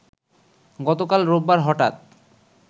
গতকাল রোববার হঠাৎ